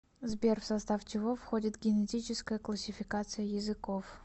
сбер в состав чего входит генетическая классификация языков